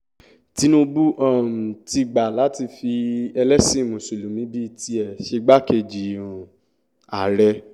tinúbù um ti gbà láti fi ẹlẹ́sìn mùsùlùmí bíi tiẹ̀ ṣègbàkejì um ààrẹ